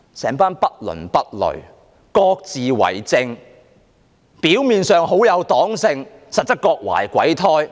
整群人不倫不類，各自為政，表面上黨性十足，實質各懷鬼胎。